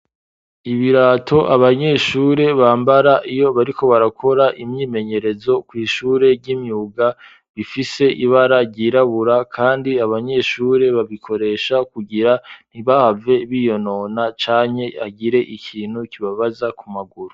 Ibirato abanyeshure bambara iyo bariko barakora imyimenyerezo kw'ishure ry'imyuga bifise ibara ryirabura, kandi abanyeshure babikoresha kugira ntibave biyo nona canke agire ikintu kibabaza ku maguru.